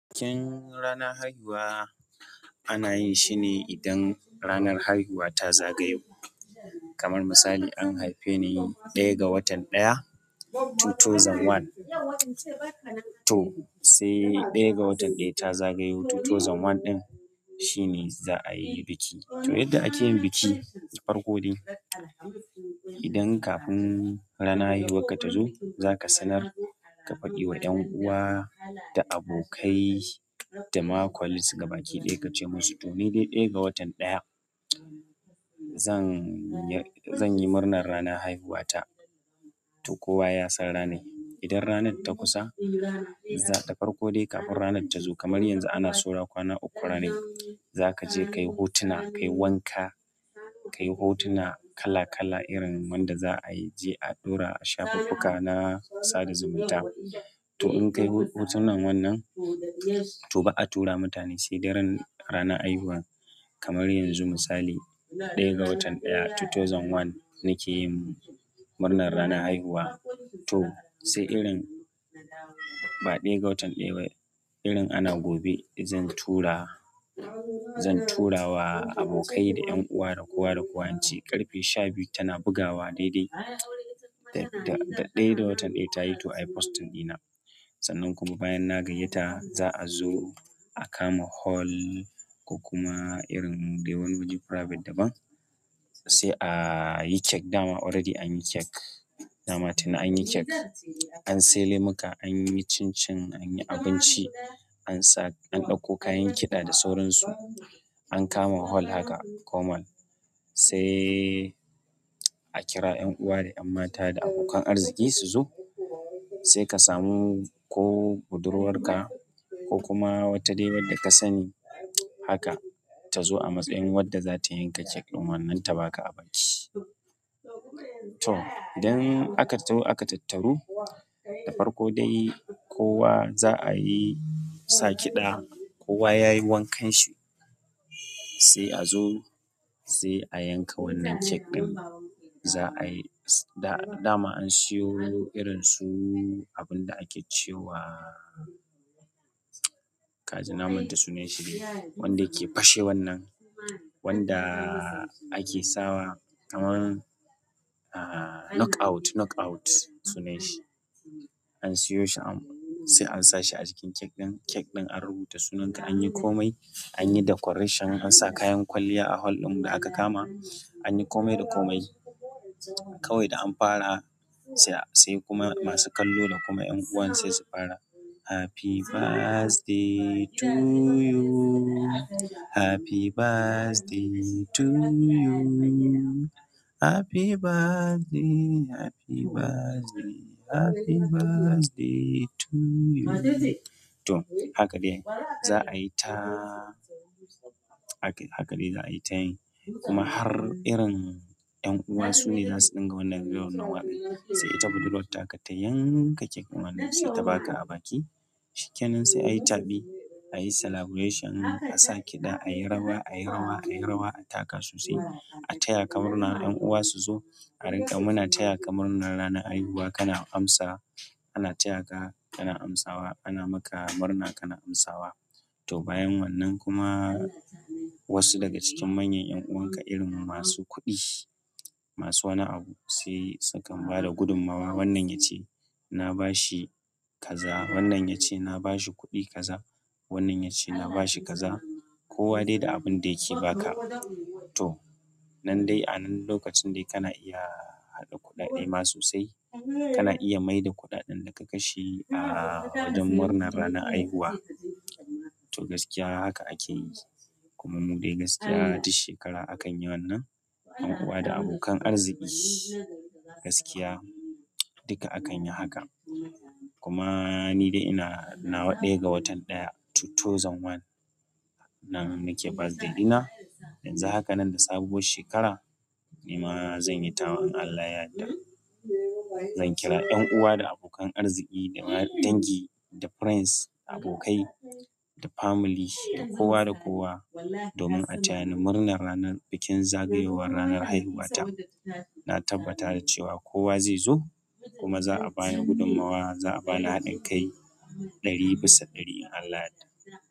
Bikin rana haihuwa ana yin shi ne idan ranar haihuwa ta zagayo. Kamar misali an haife ni ɗaya ga watan ɗaya dubu biyu da ɗaya to sai ɗaya ga watan ɗaya ta zagayo dubu biyu da ɗaya din shine za a yi biki. To yadda ake yin biki, farko dai idan kafin ranar haihuwa ka ta zo za ka sanar ka faɗi wa ƴan uwa da abokai da ma colleagues gabaki ɗaya ka ce musu to ni dai ɗaya ga watan ɗaya zan ya-- zan yi murna rana haihuwa ta to kowa ya san ranai. Idan ranar ta kusa, za. Da farko dai kafin ranar ta zo kamar yanzu ana saura kwana uku ranai, za ka je ka yi hotuna, ka yi wanka, ka yi hotuna kala kala irin wanda za a je a ɗora a shafuffuka na sada zumunta. To in ka yi hotunan wannan, to ba a tura mutane sai daren rana haihuwa. Kamar yanzu misali ɗaya ga watan ɗaya dubu biyu da ɗaya nake yin murnar rana haihuwa to sai irin ba ɗaya ga watan ɗaya irin ana gobe zan tura, zan tura wa abokai da ƴan uwa da kowa da kowa ince ƙarfe shabiyu tana bugawa daidai da, da ɗaya ga watan ɗaya ta yi to ayi posting ɗina. Sannan kuma bayan na gayyata za'a zo a kama hall ko kuma irin dai wani waje private daban sai ayi cake da ma already an yi kek, da ma tuni an yi kek. An sai lemuka anyi cincin anyi abinci an sa an ɗauko kayan kiɗa da sauran su an kama hol haka komal sai a kira ƴan uwa da ƴan mata da abokan arziki su zo sai ka samu ko budurwarka ko kuma wata dai wadda ka sani haka ta zo a matsayin wadda za ta yanka kek ɗin wannan ta ba ka abaki. To idan aka taho aka tattaru, da farko dai kowa za a yi sa kiɗa kowa ya yi wankan shi sai a zo sai a yanka wannan kek ɗin. Za a yi da, da ma an siyo irin su abunda ake ce wa kaji na manta sunan shi dai wanda yake fashe wannan wanda ake sawa kaman ah knock out, knock out sunayen shi. An siyo shi an sai an sa shi a cikin kek ɗin. Kek ɗin an rubuta sunanka anyi kome anyi decoration an sa kayan kwalliya a hol ɗin da aka kama anyi komai da komai. Kawai da an fara sai, sai kuma masu kallo da kuma ƴan uwan sai su fara "Happy birthday to you, happy birthday to you, happy birthday, happy birthday, happy birthday to you" to haka dai za a yi ta haka dai za a yi ta yi kuma har irin ƴan uwa su ne zasu ɗinka wannan ɗin wannan waƙa sai ita budurwartaka ta yanka kek ɗin wannan sai ta ba ka abaki. Shikenan sai ayi taɓi, a yi celebration a sa kiɗa a yi rawa a yi rawa a yi rawa a taka sosai a taya ka murna ƴan uwa su zo a rinka muna taya ka murnar rana haihuwa kana amsa ana taya ka kana amsawa ana maka murna kana amsawa. To bayan wannan kuma wasu daga cikin manyan ƴan'uwanka irin masu kuɗi, masu wani abu sai sukan ba da gudummawa. Wannan ya ce na ba shi kaza, wannan ya ce na ba shi kuɗi kaza, wannan ya ce na ba shi kaza kowa dai da abin da yake ba ka. To nan dai a nan lokacin dai kana iya haɗa kuɗaɗe ma sosai kana iya maida kuɗaɗan da ka kashe ah wajen murnar rana haihuwa. To gaskiya haka ake yi, kuma mu dai gaskiya duk shekara akan yi wannan yan uwa da abokan arziki gaskiya dikka akayi haka kuma ni dai ina, nawa ɗaya ga watan ɗaya dubu biyu da ɗaya nan nake birthday dina. Yanzu haka nan da sabuwar shekara ni ma zanyi tawa. In Allah ya yadda. Zan kira ƴan uwa da abokan arziki da ma dangi da friends abokai da family da kowa da kowa domin a taya ni murnar ranar bikin zagayowar ranar haihuwa ta. Na tabbata da cewa kowa zai zo kuma za a bani gudummawa za a bani haɗin kai ɗari bisa ɗari. In Allah ya yadda.